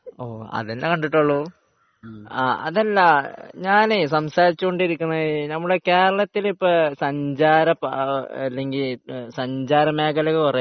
ഓഹ് അതന്നെ കണ്ടിട്ടുള്ളൂ അതല്ല , ആഹ് അതല്ല ഞാന് സംസാരിച്ചു കൊണ്ടിരിക്കുന്നത് നമ്മുടെ കേരളത്തിൽ ഇപ്പോൾ സഞ്ചാര ല്ലെങ്കിൽ സഞ്ചാര മേഖല കുറെ ഇല്ലേ